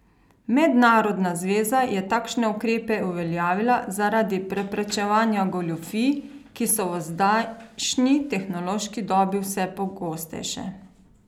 Mednarodna zveza je takšne ukrepe uveljavila zaradi preprečevanja goljufij, ki so v zdajšnji tehnološki dobi vse pogostejše.